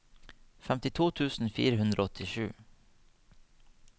femtito tusen fire hundre og åttisju